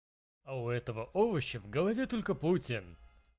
а у этого овоща в голове только путин